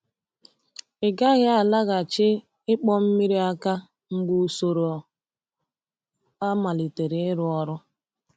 Ị gaghị alaghachi ịkpọ mmiri aka mgbe usoro a malitere ịrụ ọrụ.